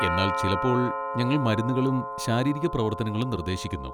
എന്നാൽ ചിലപ്പോൾ ഞങ്ങൾ മരുന്നുകളും ശാരീരിക പ്രവർത്തനങ്ങളും നിർദ്ദേശിക്കുന്നു.